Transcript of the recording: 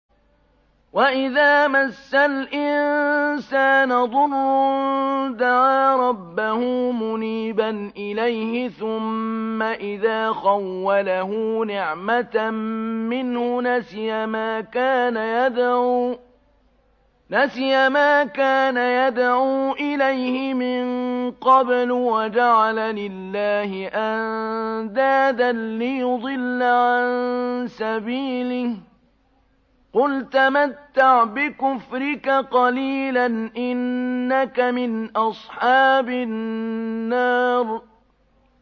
۞ وَإِذَا مَسَّ الْإِنسَانَ ضُرٌّ دَعَا رَبَّهُ مُنِيبًا إِلَيْهِ ثُمَّ إِذَا خَوَّلَهُ نِعْمَةً مِّنْهُ نَسِيَ مَا كَانَ يَدْعُو إِلَيْهِ مِن قَبْلُ وَجَعَلَ لِلَّهِ أَندَادًا لِّيُضِلَّ عَن سَبِيلِهِ ۚ قُلْ تَمَتَّعْ بِكُفْرِكَ قَلِيلًا ۖ إِنَّكَ مِنْ أَصْحَابِ النَّارِ